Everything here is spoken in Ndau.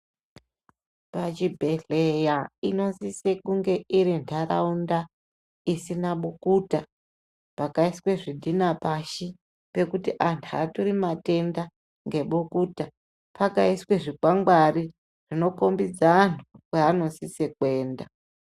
Pachibhedhlera inosisa kunge iri ntaraunda isina bukuta pakaiswe zvidhina pashi pekuti antu aatori matenda ngebukuta pakaiswe zvikwangwari zvinokombidze antu kwaanosise kuenda.